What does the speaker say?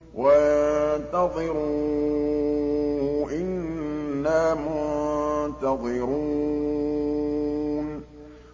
وَانتَظِرُوا إِنَّا مُنتَظِرُونَ